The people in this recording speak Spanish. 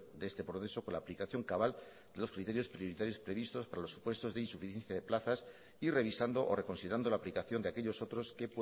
de este proceso con la aplicación cabal de los criterios prioritarios previstos para los supuestos de insuficiencias de plazas y revisando o reconsiderando la aplicación de aquellos otros que